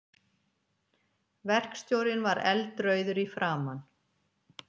Verkstjórinn var eldrauður í framan.